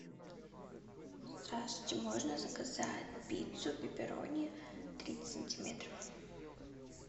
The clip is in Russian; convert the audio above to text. здравствуйте можно заказать пиццу пепперони тридцать сантиметров